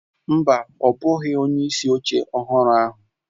Mba, ọ bụghị onyeisi oche ọhụrụ ahụ.